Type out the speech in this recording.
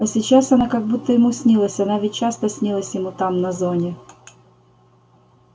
а сейчас она как будто ему снилась она ведь часто снилась ему там на зоне